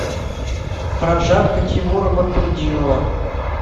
прожарка тимура батрутдинова